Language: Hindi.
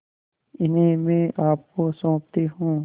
इन्हें मैं आपको सौंपती हूँ